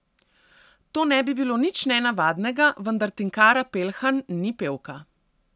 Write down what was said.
To ne bi bilo nič nenavadnega, vendar Tinkara Pelhan ni pevka.